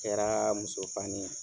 Kɛra muso fani ye